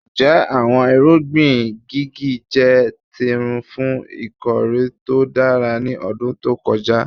Njẹ awọn irugbin jigi jẹ tirun fun ikore to dara ni ọdun to kọja?